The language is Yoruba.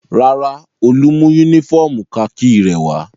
Rárá, Olú mú únífọ́ọ́mù kakí rẹ̀ wá.